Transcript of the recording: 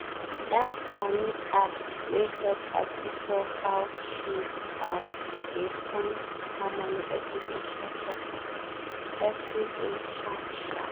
that money app wen help her secure how she um dey spend her money every day sharp-sharp. every day sharp-sharp.